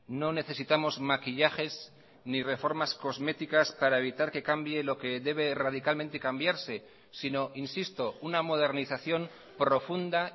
no necesitamos maquillajes ni reformas cosméticas para evitar que cambie lo que debe radicalmente cambiarse sino insisto una modernización profunda